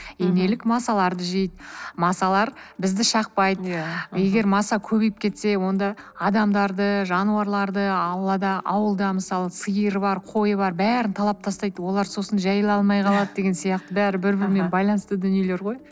инелік масаларды жейді масалар бізді шақпайды егер маса көбейіп кетсе онда адамдарды жануарларды аулада ауылда мысалы сиыр бар қой бар бәрін талап тастайды олар сосын жайыла алмай қалады деген сияқты бәрі бір бірімен байланысты дүниелер ғой